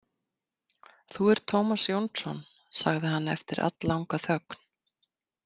Þú ert Tómas Jónsson, sagði hann eftir alllanga þögn.